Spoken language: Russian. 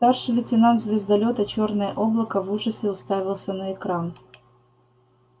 старший лейтенант звездолёта чёрное облако в ужасе уставился на экран